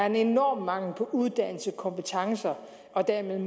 en enorm mangel på uddannelse og kompetencer og dermed en